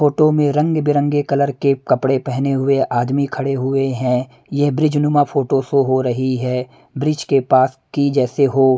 photo में रंग बिरंगे कलर के कपड़े पहने हुए आदमी खड़े हुए हैं यह ब्रिज नुमा फोटो शो हो रही है ब्रिज के पास की जैसे हो--